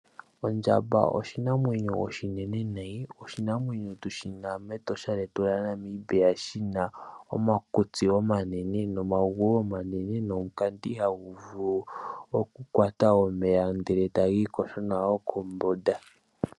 Ondjamba oshinamwenyo oshinene nayi, oshinamwenyo tushi na mEtosha lyetu lyaNamibia, shina omakutsi omanene nomagulu omanene nomukati hagu vulu oku kwata omeya ndele tayi yogo nago kombunda.